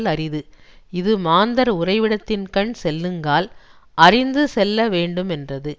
லரிது இது மாந்தர் உறைவிடத்தின்கண் செல்லுங்கால் அறிந்து செல்ல வேண்டுமென்றது